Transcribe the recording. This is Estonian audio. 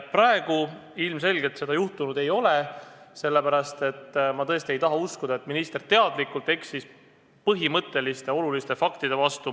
Praegu ilmselgelt seda juhtunud ei ole – ma tõesti ei taha uskuda, et minister teadlikult eksis põhimõtteliste, oluliste faktide vastu.